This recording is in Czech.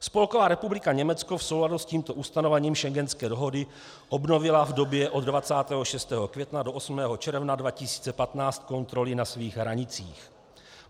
Spolková republika Německo v souladu s tímto ustanovením schengenské dohody obnovila v době od 26. května do 8. června 2015 kontroly na svých hranicích.